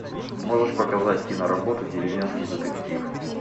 можешь показать киноработу деревенский детектив